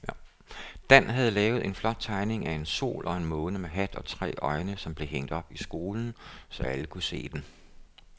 Dan havde lavet en flot tegning af en sol og en måne med hat og tre øjne, som blev hængt op i skolen, så alle kunne se den.